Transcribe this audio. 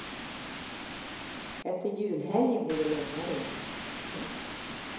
Efter julhelgen blir det lugnare igen. punkt